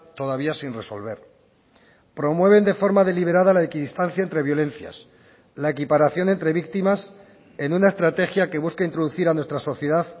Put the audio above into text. todavía sin resolver promueven de forma deliberada la equidistancia entre violencias la equiparación entre víctimas en una estrategia que busca introducir a nuestra sociedad